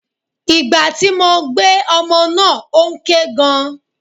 Ìgbà tí mo gbé ọmọ náà ó ń ké gan.